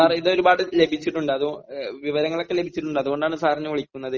sir ഇത് ഒരുപാട് ലഭിച്ചിട്ടുണ്ട് അതുകൊ വിവരങ്ങളൊക്കെ ലഭിച്ചിട്ടുണ്ട് അതുകൊണ്ടാണ് സാറിനെ വിളിക്കുന്നത്